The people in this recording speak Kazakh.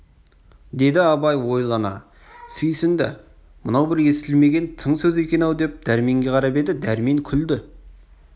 деді абай ойлана сүйсінді мынау бір естілмеген тың сөз екен-ау деп дәрменге қарап еді дәрмен күлді